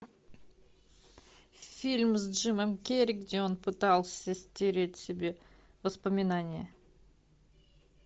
фильм с джимом керри где он пытался стереть себе воспоминания